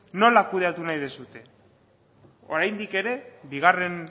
nola kudeatu nahi duzue oraindik ere bigarren